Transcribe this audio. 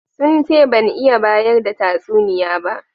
Sun ce ban iya bayar da tatsuniya ba.